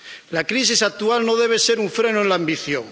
La crisis actual no debe ser un freno en la ambición.